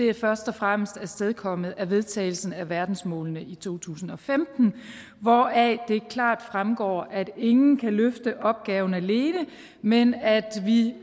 er først og fremmest afstedkommet af vedtagelsen af verdensmålene i to tusind og femten hvoraf det klart fremgår at ingen kan løfte opgaven alene men at vi